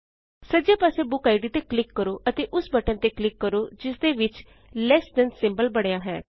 ਸੱਜੇ ਪਾਸੇ ਬੁਕਿਡ ਤੇ ਕਲਿਕ ਕਰੋ ਅਤੇ ਓਸ ਬਟਨ ਤੇ ਕਲਿਕ ਕਰੋ ਜਿਸਦੇ ਵਿਚ ਲੈੱਸ ਥਾਨ ਲਟ ਸਿੰਬਲ ਬਣਿਆ ਹੈ